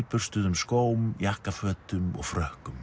nýburstuðum skóm jakkafötum og frökkum